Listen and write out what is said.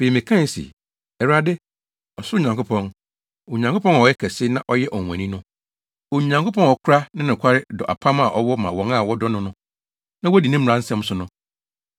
Afei, mekae se, “ Awurade, ɔsoro Nyankopɔn, Onyankopɔn a ɔyɛ ɔkɛse na ɔyɛ ɔnwonwani no, Onyankopɔn a ɔkora ne nokware dɔ apam a ɔwɔ ma wɔn a wɔdɔ no na wodi ne mmara nsɛm so no,